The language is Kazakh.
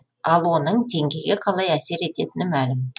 ал оның теңгеге қалай әсер ететіні мәлім